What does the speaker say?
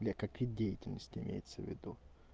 для какая деятельность имеется в виду